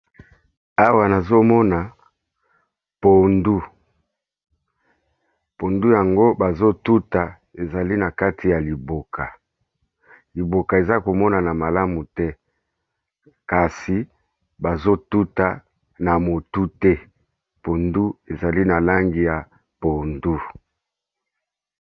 Awa nazo mona pondu, pondu yango bazo tuta ezali na kati ya liboka. Liboka eza ko monana malamu te, kasi bazo tuta na motu te pondu ezali na langi ya pondu.